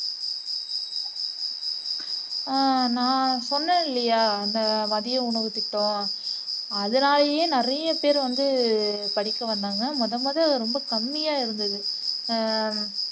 உம் நான் சொன்னேன் இல்லையா அந்த மதிய உணவுத்திட்டம் அதனாலேயே நிறையப்பேர் வந்து படிக்க வந்தாங்க முதல் முதல் ரொம்ப கம்மியா இருந்தது ஹம்